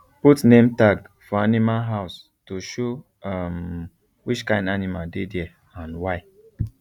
put name tag for animal house to show um which kind animal dey there and why